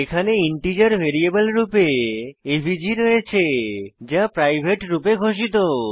এখানে integer variable রূপে AVG রয়েছে যা প্রাইভেট রূপে ঘোষিত